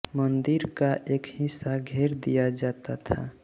मंदिर का एक हिस्सा घेर दिया जाता था